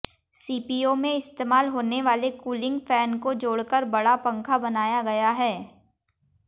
CPU में इस्तेमाल होने वाले कूलिंग फैन को जोड़कर बड़ा पंखा बनाया गया है